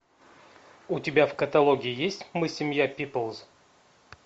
у тебя в каталоге есть мы семья пиплз